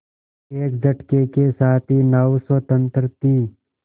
एक झटके के साथ ही नाव स्वतंत्र थी